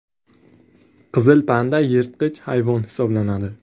Qizil panda yirtqich hayvon hisoblanadi.